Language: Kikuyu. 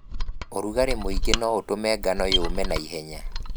ũrugarĩ mũingĩ noũtũme ngano yũme naihenya.